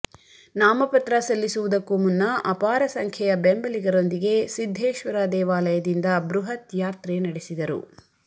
ನಾಮಪತ್ರ ಸಲ್ಲಿಸುವುದಕ್ಕೂ ಮುನ್ನ ಅಪಾರ ಸಂಖ್ಯೆಯ ಬೆಂಬಲಿಗರೊಂದಿಗೆ ಸಿದ್ಧೇಶ್ವರ ದೇವಾಲಯದಿಂದ ಬೃಹತ್ ಯಾತ್ರೆ ನಡೆಸಿದರು